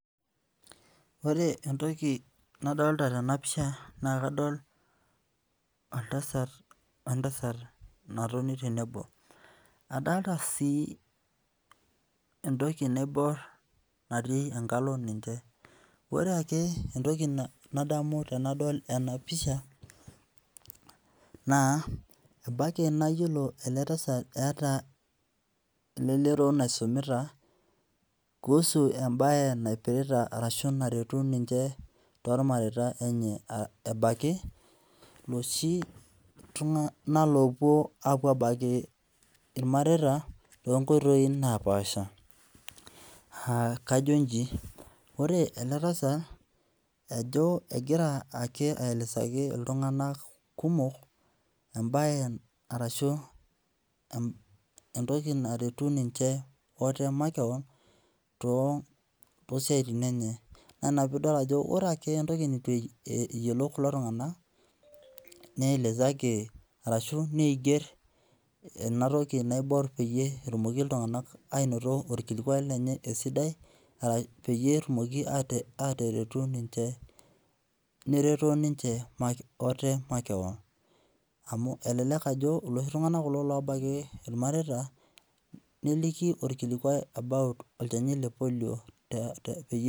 Ore entoki nadolita tena pisha naa kadol oltasat we ntasat natoni tenebo. Adolita sii entoki naiborr natii enkao ninche. Ore ake entoki nadamu tenadol ena pisha naa embaiki nayiolo ele tasat eeta, eeta elelero naisumita kuhusu embae naipirita arashu naretu ninche tormareita lenye ebaiki loshi tung'anak loopwo apwo abaiki irmareita loonkoitoi naapaasha. Aa kajo inji, ore ele tasat ajo egira ake aelezaki iltung'anak kumok embae arashu entoki naretu ninche ate makeon toosiaitin enye. Naa ina piidol ajo ore ake entoki neitu eyiolou kulo tung'anak neelezaki ashu neigerr ena toki naiborr peyie etumoki iltung'anak ainoto orkilikwai lenye esidai peyie etumoki ateretu ninche nereto ninche ate makeon amu elelek ajo iloshi tung'anak kulo obaiki irmareita neliki orkilikwai about olchani le polio peyie